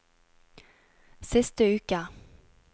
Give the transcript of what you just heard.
siste uke